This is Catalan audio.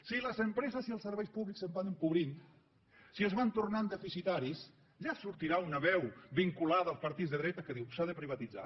si les empreses i els serveis públics es van empobrint si es van tornant deficitaris ja sortirà una veu vinculada als partits de dretes que diu s’ha de privatitzar